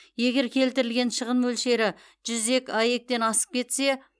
егер келтірілген шығын мөлшері жүз аек асып кетсе